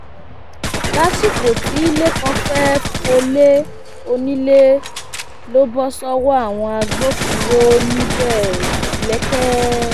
lásìkò tí lẹkan fẹẹ fọlẹ onílẹ ló bọ sọwọ àwọn agbófinró nìbẹjúlẹkẹ